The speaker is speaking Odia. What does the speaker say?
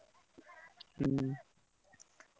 ହୁଁ।